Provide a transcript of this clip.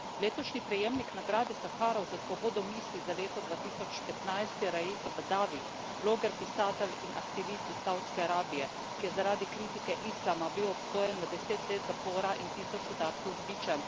Letošnji prejemnik nagrade Saharova za svobodo misli za leto 2015 je Raif Badavi, bloger, pisatelj in aktivist iz Savdske Arabije, ki je bil zaradi kritike islama obsojen na deset let zapora in tisoč udarcev z bičem.